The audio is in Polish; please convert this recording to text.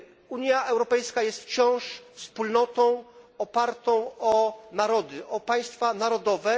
Unia Europejska jest wciąż wspólnotą opartą o narody, o państwa narodowe.